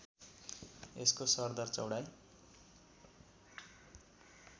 यसको सरदर चौडाइ